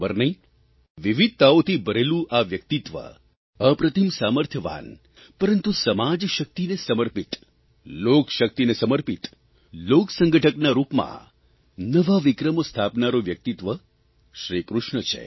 ખબર નહીં વિવિધતાઓથી ભરેલું આ વ્યક્તિત્વ અપ્રતિમ સામર્થ્યવાન પરંતુ સમાજશક્તિને સમર્પિત લોકશક્તિને સમર્પિત લોકસંગઠકના રૂપમાં નવા વિક્રમો સ્થાપનારૂં વ્યક્તિત્વ શ્રીકૃષ્ણ છે